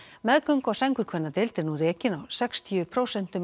meðgöngu og sængurkvennadeild er nú rekin á sextíu prósent